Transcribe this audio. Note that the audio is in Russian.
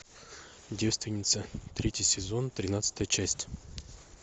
девственница третий сезон тринадцатая часть